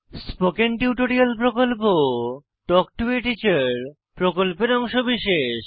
spoken tutorial প্রকল্প talk to a teacher প্রকল্পের অংশবিশেষ